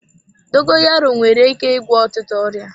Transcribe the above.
Dogoyaro nwere ike ịgwọ ọtụtụ ọrịa.